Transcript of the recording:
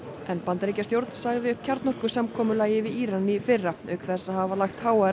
en Bandaríkjastjórn sagði upp við Íran í fyrra auk þess að hafa lagt háa